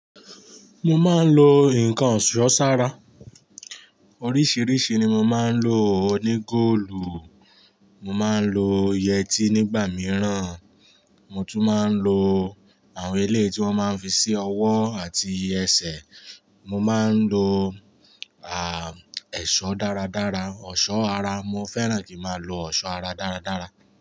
Mo máa ń lo nǹkan òṣùsọ́ sa ara. Oríṣìíríṣìí ni mo máa ń lò. Oní góòlù mo máa ń lò, yẹtí nígbà mìíràn, mo tún máa ń lo àwọn eléyìí tí wọ́n máa ń fi sí ọwọ́ àti ẹsẹ̀. Mo máa ń lo, à, ẹ̀ṣọ́ dáradára, ọ̀ṣọ́ ara. Mo fẹ́ràn kí a máa lo ọ̀ṣọ́ ara dáradára.